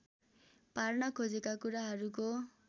पार्न खोजेका कुराहरूको